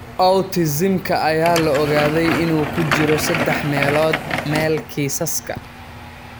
Autism-ka ayaa la ogaaday in uu ku jiro saddex meelood meel kiisaska.